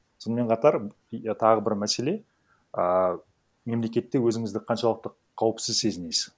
сонымен қатар тағы бір мәселе ііі мемлекетте өзінізді қаншалықты қауіпсіз сезінесіз